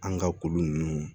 An ka ko nunnu